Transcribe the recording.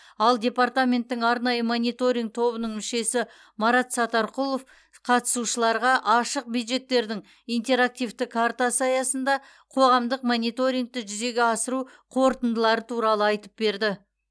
ал департаменттің арнайы мониторинг тобының мүшесі марат сатарқұлов қатысушыларға ашық бюджеттердің интерактивті картасы аясында қоғамдық мониторингті жүзеге асыру қорытындылары туралы айтып берді